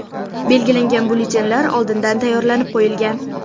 Belgilangan byulletenlar oldindan tayyorlanib qo‘yilgan.